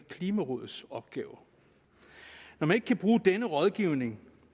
klimarådets opgaver når man ikke kan bruge denne rådgivning